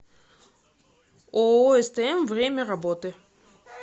ооо стм время работы